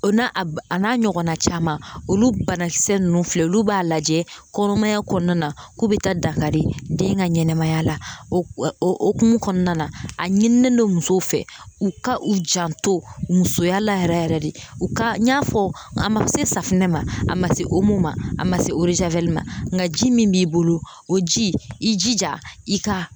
O na a n'a ɲɔgɔnna caman olu banakisɛ ninnu filɛ olu b'a lajɛ kɔnɔmaya kɔnɔna na k'u bɛ taa dankari den ka ɲɛnamaya la o hokumu kɔnɔna na a ɲinilen don musow fɛ u ka u janto musoya la yɛrɛ yɛrɛ de u ka n'a fɔ a ma se safunɛ ma a ma se a ma se ma nka ji min b'i bolo o jija i ka